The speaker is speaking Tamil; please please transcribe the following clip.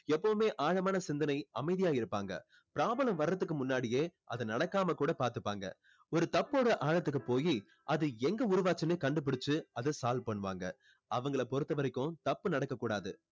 எப்போவுமே ஆழமான சிந்தனை அமைதியா இருப்பாங்க problem வர்றதுக்கு முன்னாடியே அது நடக்காம கூட பார்த்துப்பாங்க ஒரு தப்போட ஆழத்துக்கு போயி அது எங்க உருவாச்சின்னு கண்டு புடிச்சு அதை solve பண்ணுவாங்க அவங்களை பொறுத்த வரைக்கும் தப்பு நடக்க கூடாது